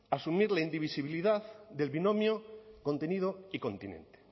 asumir la indivisibilidad del binomio contenido y continente